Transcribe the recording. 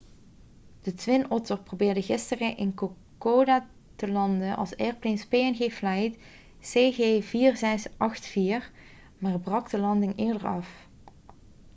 de twin otter probeerde gisteren in kokoda te landen als airlines png flight cg4684 maar brak de landing eerder af